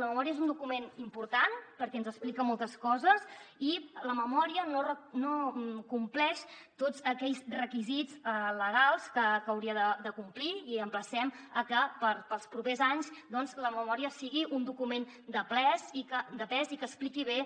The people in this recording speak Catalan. la memòria és un document important perquè ens explica moltes coses i la memòria no compleix tots aquells requisits legals que hauria de complir i emplacem a que per als propers anys doncs la memòria sigui un document de pes i que expliqui bé